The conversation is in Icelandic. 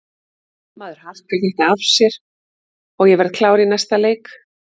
Maður harkar þetta af sér og ég verð klár í næsta leik.